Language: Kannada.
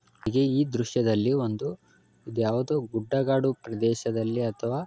ಈ ದೃಶ್ಯದಲ್ಲಿ ಒಂದು ಯಾವುದೋ ಗುಡ್ಡಗಾಡು ಪ್ರದೇಶದಲ್ಲಿ ಅಥವಾ--